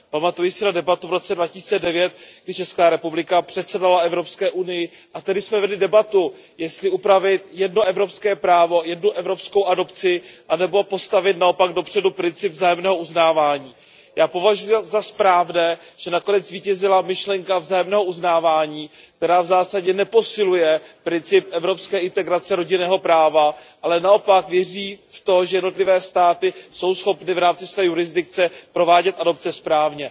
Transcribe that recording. Pamatuji si na debatu v roce 2009, kdy Česká republika předsedala EU, a tehdy jsme vedli debatu, jestli upravit jedno evropské právo, jednu evropskou adopci nebo postavit naopak dopředu princip vzájemného uznávání. Já považuji za správné, že nakonec zvítězila myšlenka vzájemného uznávání, která v zásadě neposiluje princip evropské integrace rodinného práva, ale naopak věří v to, že jednotlivé státy jsou schopny v rámci své jurisdikce provádět adopce správně.